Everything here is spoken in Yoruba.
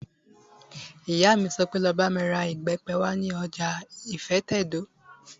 Ìyá mi sọ pé, 'Lọ bá mi ra ìbẹ́pẹ wá ní ọjà ìfẹ́tẹ̀dó!